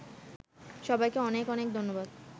সবাইকে অনেক অনেক ধন্যবাদ